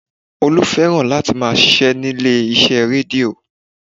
Olú fẹ́ràn láti máa ṣíṣe nílé iṣẹ́ rédíó